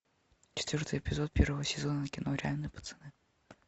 четвертый эпизод первого сезона кино реальные пацаны